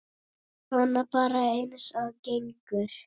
Svona bara eins og gengur.